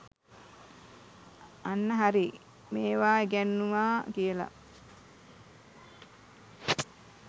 අන්න හරි මේවා ඉගැන්නුවා කියලා